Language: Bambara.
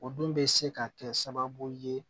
O dun bɛ se ka kɛ sababu ye